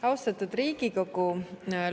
Austatud Riigikogu!